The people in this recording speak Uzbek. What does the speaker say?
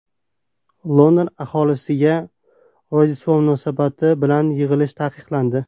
London aholisiga Rojdestvo munosabati bilan yig‘ilish taqiqlandi.